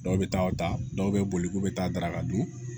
Dɔw bɛ taa o ta dɔw bɛ boli k'u bɛ taa daraka dun